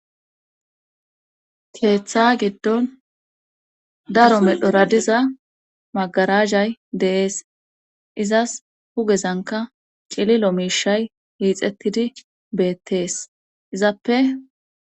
keeththa giddon daro medhora diza magarazay dee'es izas hugezanka cililo miishay hiixettidi beettees izappe